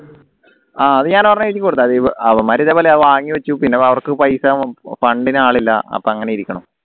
ആഹ് അത് ഞാൻ ഒരെണ്ണം എഴുതി കൊടുത്തു അവന്മാരെ ഇതേപോലെ വാങ്ങി വെച്ചു പിന്നെ അവർക്ക് പൈസ fund ന് ആളില്ല അപ്പൊ അങ്ങനെ ഇരിക്കണ